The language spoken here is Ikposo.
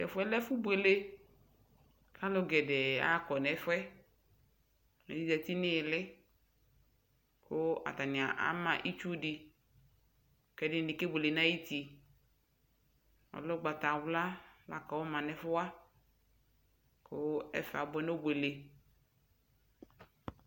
Tɛfuɛ lɛ ɛfu buele alu gɛdɛɛɛ akɔɛ fuɛ ɛdi ƶati niyili katani ama itsudi kɛdini kebuele nayuti Ɔlɛɛ ugbatawla la kɔma nɛgfuwa kuu ɛfɛ abuɛ nobwele